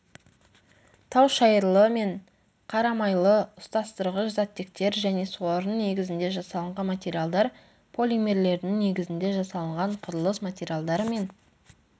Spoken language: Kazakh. таушайырлы мен қарамайлы ұстастырғыш заттектер және солардың негізінде жасалынған материалдар полимерлердің негізінде жасалынған құрылыс материалдары мен